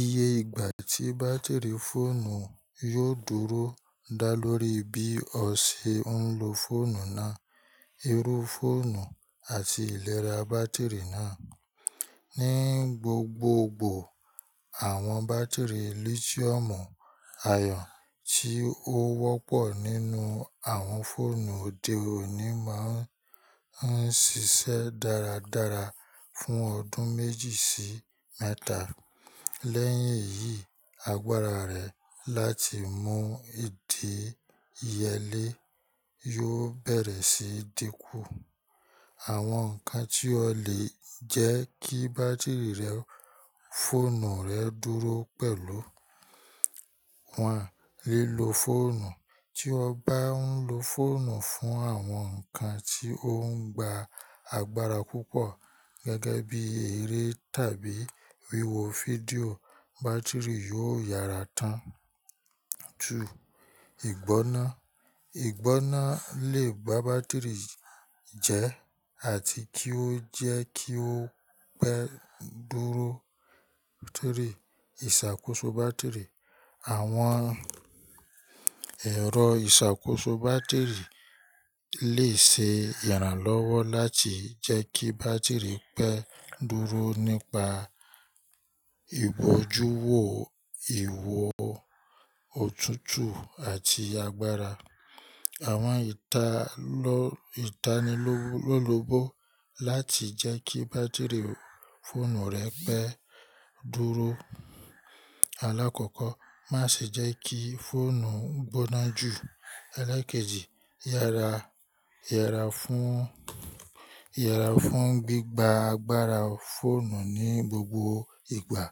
Iye ìgbà tí bátìrì fóònù yóò dúró dá lórí bí ọ̀ sẹ̀ n lọ fọ̀nù náà, irú fọ̀nù àti ìlẹ̀rà bátìrì náà. Ní gbogbogbò, awọn bátìrì lítíọ̀mù ayọn tí o wọ́pọ̀ nínu awọn fọ̀nù òde òní má n ṣiṣẹ́ dáradára fún ọdún méjì sí mẹ́tà. Lẹ́yìn èyí, àgbàrà rẹ̀ láti mú ìdẹ ìyẹ́lẹ̀ yòò bẹ̀rẹ̀ sí dínkù. Àwọn nkàn tí o lè jẹ́ kí bátìrì rẹ̀ fọ̀nù rẹ̀ dúró pẹ̀lú: 1. Lílọ̀ fọ̀nù: tí o bá n lọ fọ̀nù fún awọn nkàn tí o ń gbà àgbàrà púpọ̀, gẹ́gẹ́ bí eré tàbí wíwo fídíò, bátìrì yòò yára tán. 2. Ìgbọná: Ìgbọná lè gbà bátìrì jẹ́ àti kí o jẹ́ kí o pẹ́ dúró. 3. Ìṣàkóso bátìrì: Àwọn ẹ̀rọ ìṣàkóso bátìrì lè ṣe ìrànlọ́wọ́ láti jẹ́ kí bátìrì pẹ́ dúró nípa ìbọ̀júwọ̀ ìwọ̀ ọ̀tútù àti àgbàrà. Àwọn ìtanilólòbó láti jẹ́ kí bátìrì fọ̀nù rẹ pẹ́ dúró: Alákọ̀ọ́kọ́, máṣè jẹ́ kí fọ̀nù gbọná jù. Elékèjì, yára yára fún gbígbà àgbàrà fọ̀nù ní gbogbo ìgbà.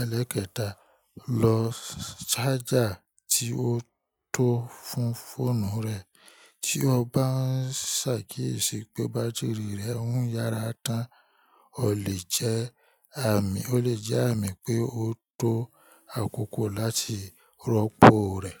Elékẹta, lo ṣájà tí o tó fún fọ̀nù rẹ. Tí o bá n ṣàkíyèsí pé bátìrì rẹ ń yára tán, o lè jẹ́ àmì o lè jẹ́ àmì pé o tó àkókò láti rọ́pò rẹ̀.